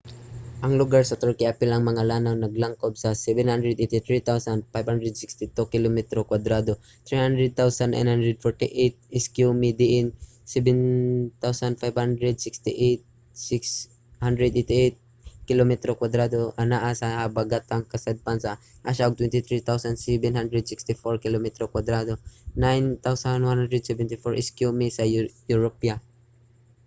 ang lugar sa turkey apil ang mga lanaw naglangkob sa 783,562 kilometro kwadrado 300,948 sq mi diin 755,688 kilometro kwadrado anaa sa habagatang kasadpan sa asya ug 23,764 kilometro kwadrado 9,174 sq mi sa europa